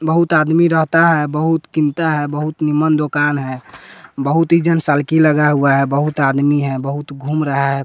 बहुत आदमी रहता है बहुत किनता है बहुत निमम्न दुकान है बहुत ही जनसालकी लगा हुआ है बहुत आदमी है बहुत घूम रहा है --